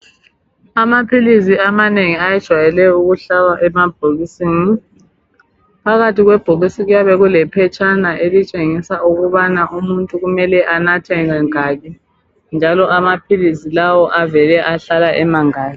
Amaphilisi amanengi ayejwayele ukuhlala emabhokisini phakathi kwebhokisi kuyabe kule phetshana elitshengisa ukubana umuntu kumele anathe kangaki njalo amaphilisi lawa avele ahlala emangaki.